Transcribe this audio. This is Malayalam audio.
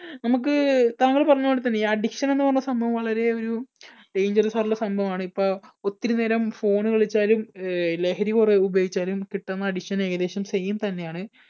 നമുക്ക് താങ്കൾ പറഞ്ഞ പോലെ തന്നെ ഈ addiction എന്ന് പറഞ്ഞ് സംഭവം വളരെ ഒരു dangeros ആയിട്ടുള്ള സംഭവം ആണ്. ഇപ്പോ ഒത്തിരിനേരം phone കളിച്ചാലും ലഹരി കുറേഉപയോഗിച്ചാലും കിട്ടുന്ന addiction ഏകദേശം same തന്നെയാണ്.